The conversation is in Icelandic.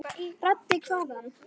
Raddir hvaðan?